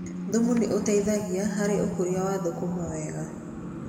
Thumu nĩ ũteithagia harĩ ũkũria wa thũkũma wega.